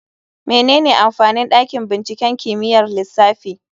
Menene amfanin dakin binciken kimiyyar lissafi?